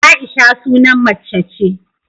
Aisha sunan macce ce